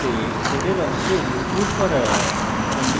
condition true হলে code অংশ execute করা